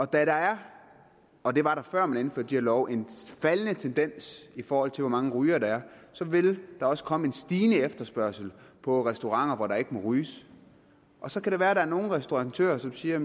der er og det var der før man indførte de her love en faldende tendens i forhold til hvor mange rygere der er vil der også komme en stigende efterspørgsel på restauranter hvor der ikke må ryges og så kan det være at der er nogle restauratører som siger at